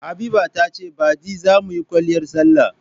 Habiba ta ce baɗi za mu yi kwaliyar salla.